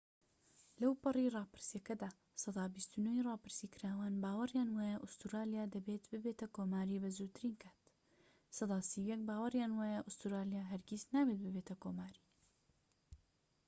لەوپەڕی ڕاپرسیەکەدا، سەدا ٢٩ ی راپرسیکراوان باوەریان وایە ئوستورالیا دەبێت ببێتە کۆماری بە زووترین کات، سەدا ٣١ باوەریان وایە ئوستورالیە هەرگیز نابێت ببێتە کۆماری